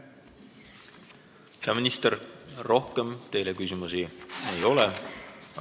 Hea minister, rohkem teile küsimusi ei ole.